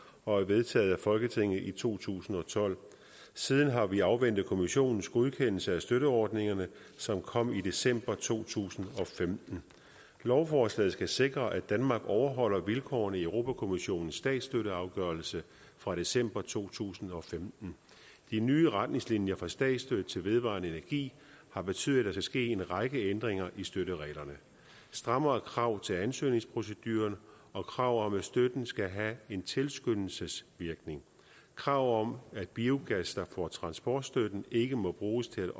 og er vedtaget af folketinget i to tusind og tolv siden har vi afventet kommissionens godkendelse af støtteordningerne som kom i december to tusind og femten lovforslaget skal sikre at danmark overholder vilkårene i europa kommissionens statsstøtteafgørelse fra december to tusind og femten de nye retningslinjer for statsstøtte til vedvarende energi har betydet at der skal ske en række ændringer i støttereglerne strammere krav til ansøgningsprocedurerne og krav om at støtten skal have en tilskyndelsesvirkning krav om at biogas der får transportstøtte ikke må bruges til